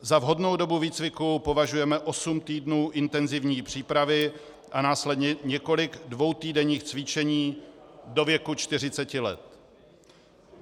Za vhodnou dobu výcviku považujeme osm týdnů intenzivní přípravy a následně několik dvoutýdenních cvičení do věku 40 let.